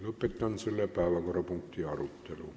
Lõpetan selle päevakorrapunkti arutelu.